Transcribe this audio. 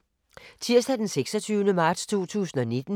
Tirsdag d. 26. marts 2019